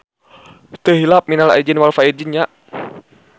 Teu hilap minal aidin wal faidzin nya.